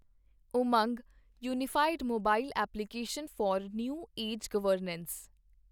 Umang unified mobile application for new age governance